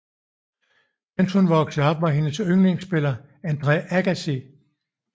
Mens hun voksede op var hendes yndlingsspiller Andre Agassi